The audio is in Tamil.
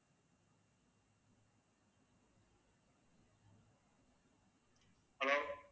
hello